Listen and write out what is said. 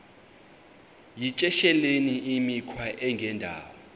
yityesheleni imikhwa engendawo